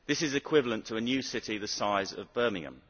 This is equivalent to a new city the size of Birmingham.